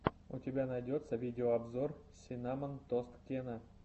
у тебя найдется видеообзор синнамон тост кена